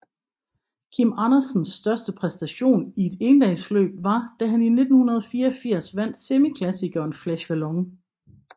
Kim Andersens største præstation i et endagsløb var da han i 1984 vandt semiklassikeren Flèche Wallonne